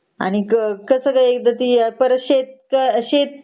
आणि कस ग एकदा परत ते शे शेत